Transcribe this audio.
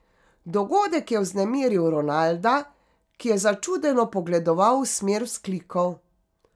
Dogodek je vznemiril Ronalda, ki je začudeno pogledoval v smer vzklikov.